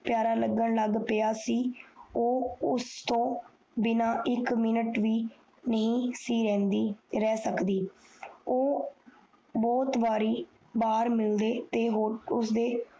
ਪਯਾਰਾ ਲੱਗਣ ਲੱਗ ਗਯਾ ਸੀ ਓ ਉਸ ਤੋਂ ਬਿਨਾ ਇਕ ਮਿੰਟ ਵੀ ਨਹੀਂ ਰੈਹ ਸਕਦੀ ਉਹ ਬਹੁਤ ਬਾਰੀ ਬਾਹਰ ਮਿਲਦੇ ਤੇ ਉਸਦੇ